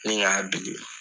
Nin k'a bili.